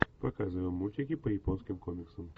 показывай мультики по японским комиксам